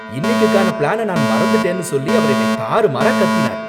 இன்னிக்குக்கான plan நான் மறந்துட்டேன்னு சொல்லி அவர் என்னை தாறுமாறா கத்தினார்